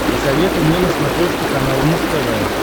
посоветуй мне на смотрешке канал муз тв